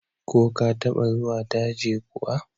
Ko ka taɓa zuwa daji kuwa?